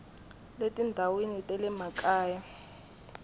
le tindhawini ta le makaya